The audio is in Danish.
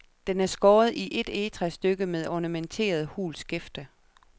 Den er skåret i et egetræsstykke med ornamenteret, hult skæfte.